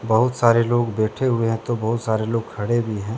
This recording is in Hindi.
बहुत सारे लोग बैठे हुए हैं तो बहुत सारे लोग खड़े भी हैं।